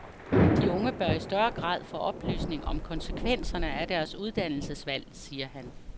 De unge bør i større grad få oplysning om konsekvenserne af deres uddannelsesvalg, siger han.